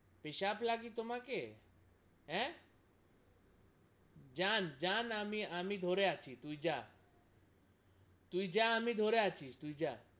পেসাব লাগি তোমাকে হ্যা! যান যান আমি আমি ধরে আছি তুই জা তুই জা আমি ধরে আছি তুই জা,